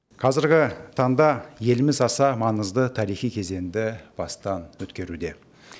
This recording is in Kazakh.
қазіргі таңда еліміз аса маңызды тарихи кезеңді бастан өткеруде